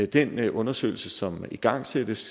den undersøgelse som igangsættes